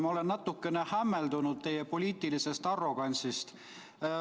Ma olen natukene hämmeldunud teie poliitilisest arrogantsist.